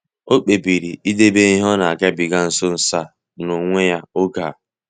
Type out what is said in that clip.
Ọ kpebiri idebe ihe o nagabiga nso nso a n'onwe ya oge a.